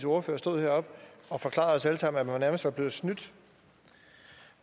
ordfører stået deroppe og forklaret os alle sammen at man nærmest er blevet snydt